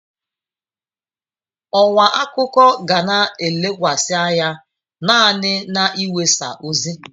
Ọwa akụkọ ga na-elekwasị anya naanị n'iwesa ozi.